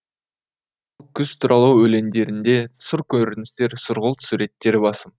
қүз туралы өлеңдерінде сұр көріністер сұрғылт суреттер басым